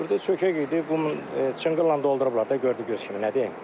Burda çökək idi, bunu çınqılla doldurublar da gördüyünüz kimi, nə deyim.